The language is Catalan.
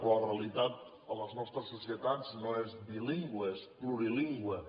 però la realitat a les nostres societats no és bilingüe és plurilingüe